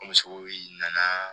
An misiw nana